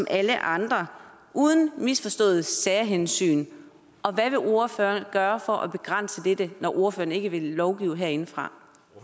alle andre uden misforståede særhensyn og hvad vil ordføreren gøre for at begrænse dette når ordføreren ikke vil lovgive herindefra